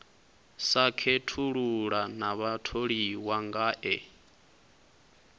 sa khethulula na vhatholiwa ngae